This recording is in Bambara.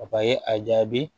a jaabi